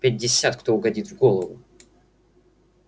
пятьдесят кто угодит в голову